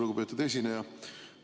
Lugupeetud esineja!